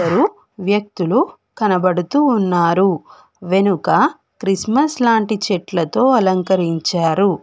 ఇద్దరు వ్యక్తులు కనబడుతూ ఉన్నారు వెనుక క్రిస్మస్ లాంటి చెట్లతో అలంకరించారు.